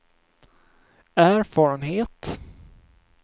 erfarenhet